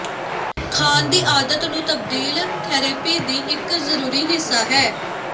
ਖਾਣ ਦੀ ਆਦਤ ਨੂੰ ਤਬਦੀਲ ਥੈਰੇਪੀ ਦੀ ਇੱਕ ਜ਼ਰੂਰੀ ਹਿੱਸਾ ਹੈ